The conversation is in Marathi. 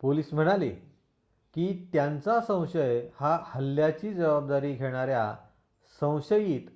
पोलिस म्हणाले की त्यांचा संशय हा हल्ल्याची जबाबदारी घेणाऱ्या संशयित